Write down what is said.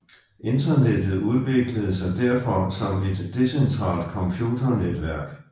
Internettet udviklede sig derfor som et decentralt computernetværk